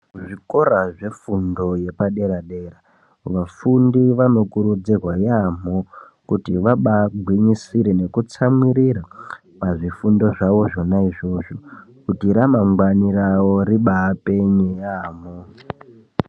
Zvikora zvefundo yepaderadera vafundi vanokurudzirwa yaamho kuti vabaagwinyisire nekutsamirira pazvifundo zvawo zvona izvozvo kuti ramangwani rawo ribaapenye yaamho.